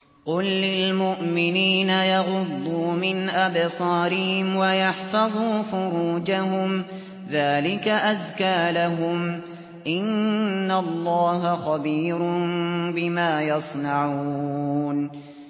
قُل لِّلْمُؤْمِنِينَ يَغُضُّوا مِنْ أَبْصَارِهِمْ وَيَحْفَظُوا فُرُوجَهُمْ ۚ ذَٰلِكَ أَزْكَىٰ لَهُمْ ۗ إِنَّ اللَّهَ خَبِيرٌ بِمَا يَصْنَعُونَ